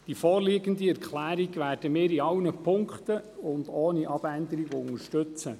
Die vorliegende Erklärung werden wir in allen Punkten und ohne Abänderung unterstützen.